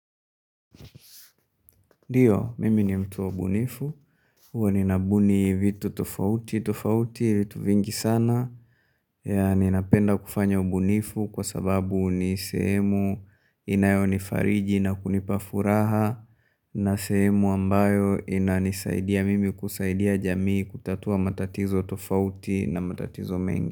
Ndio, mimi ni mtu wa ubunifu, huwa ninabuni vitu tofauti tofauti vitu vingi sana Ninapenda kufanya ubunifu kwa sababu ni sehemu inayonifariji na kunipa furaha. Na sehemu ambayo inanisaidia mimi kusaidia jamii kutatua matatizo tofauti na matatizo mengi.